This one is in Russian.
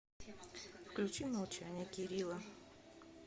включи молчание керила